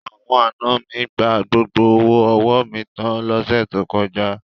Àwọn àna mi gba gbogbo owó ọwọ́ mi tan lọ́sẹ̀ tó kọjá.